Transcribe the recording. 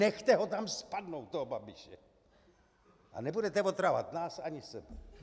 Nechce ho tam spadnout, toho Babiše, a nebudete otravovat nás ani sebe.